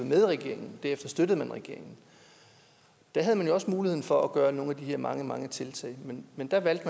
med i regeringen derefter støttede man regeringen da havde man jo også muligheden for at gøre nogle af de her mange mange ting men da valgte